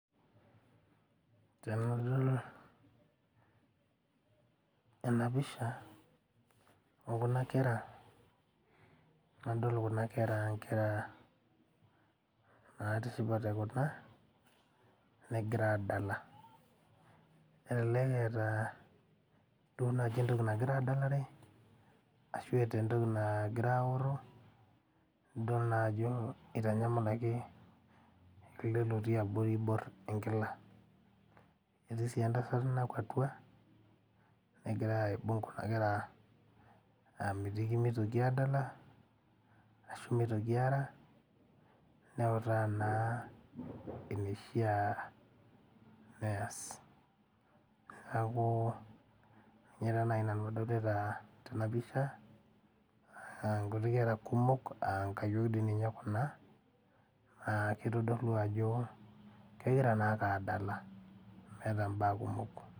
Tenadol ena pisha okuna kera nadol kuna kera ankera natishipate kuna negira adala elelek eeta duo naaji entoki nagira adalare ashu eeta entoki naagira aorro idol naa ajo itanyamalaki ele lotii abori oiborr enkila etii sii entasat nakuatua egira aibung kuna kera amitiki mitoki adala ashu mitoki aara neutaa naa enishia neyas niaku ninye taa naaji nanu adolta tena pisha naa nkuti kera kumok ankayiok dii ninye kuna naa kitodolu ajo kegira naake adala meeta imbaa kumok.